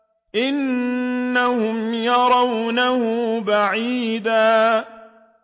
إِنَّهُمْ يَرَوْنَهُ بَعِيدًا